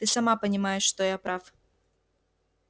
ты сама понимаешь что я прав